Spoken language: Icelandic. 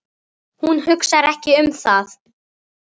Hún hugsar ekki um það.